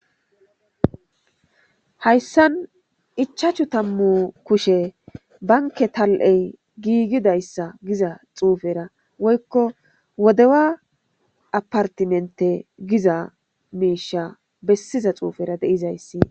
hayssan ichachu tammu kushe banke tal7ey giigidayssa giza xuufera woykko wodewa apartimente giza miisha bessiza xuufera deizayssi